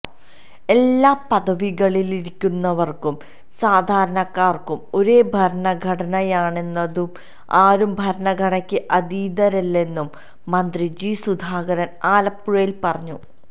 എല്ലാ പദവികളിലിരിക്കുന്നവര്ക്കും സാധാരണക്കാര്ക്കും ഒരേ ഭരണഘടനയാണുള്ളതെന്നും ആരും ഭരണഘടനയ്ക്ക് അതീതരല്ലെന്നും മന്ത്രി ജി സുധാകരന് ആലപ്പുഴയില് പറഞ്ഞു